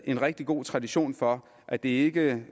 en rigtig god tradition for at det ikke